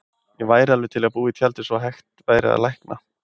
Ég væri alveg til í að búa í tjaldi svo hægt væri að lækna